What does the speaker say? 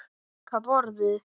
Líka borðið.